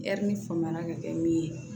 faama ka kɛ min ye